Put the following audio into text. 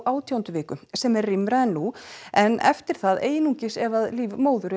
átjándu viku sem er rýmra en nú en eftir það einungis ef líf móður